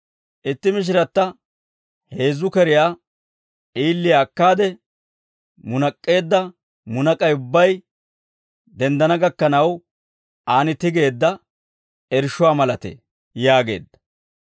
Itti mishiratta heezzu keriyaa d'iiliyaa akkaade, munak'k'eedda munak'ay ubbay denddana gakkanaw, aan tigeedda irshshuwaa malatee» yaageedda.